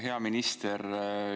Hea minister!